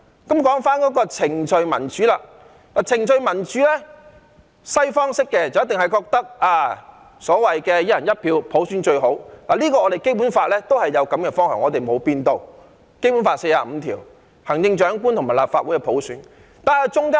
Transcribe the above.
談到程序民主，西方式一定認為"一人一票"普選最好，而《基本法》亦表達了這個方向，沒有改變，《基本法》第四十五條訂明行政長官及立法會由普選產生的目標。